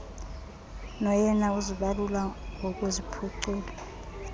noyena uzibalula ngokuziphucula